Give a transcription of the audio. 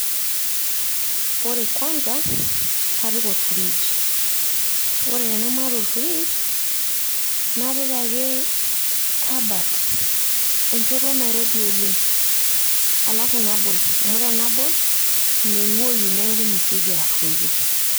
Ore kwanza kapik olfridge ore tenamaata olfridge napik ake e kabat, enchoto nairobi oleng alafu nabol amu tenabol imeng`uoyu niaku imesioki arruoyo.